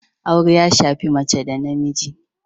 Aure ya shafi mace da namiji